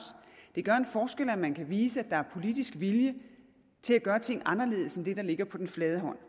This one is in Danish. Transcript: det gør en forskel at man kan vise at der er politisk vilje til at gøre ting anderledes end det der ligger på den flade hånd